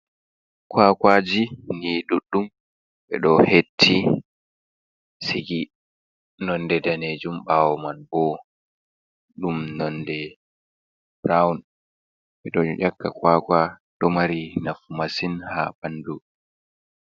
Kwakwaji ni ɗuɗɗum ɓe ɗo hetti sigi, nonde danejuum ɓawo man bo ɗum nonde burawun ɓe ɗo ƴakka kwakwa ɗo mari nafu masin ha ɓandu.